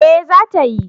Eh, za ta yi